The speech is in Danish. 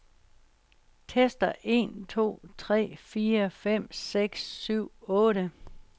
Tester en to tre fire fem seks syv otte.